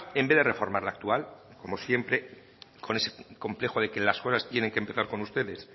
en vez de reformar la actual como siempre con ese complejo de que las cosas tienen que empezar con ustedes